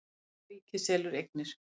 Gríska ríkið selur eignir